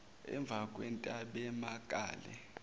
emvakwentabemakale